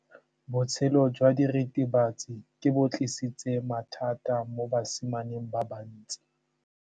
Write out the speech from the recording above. Botshelo jwa diritibatsi ke bo tlisitse mathata mo basimaneng ba bantsi.